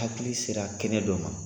Hakili sera kɛnɛ don ma.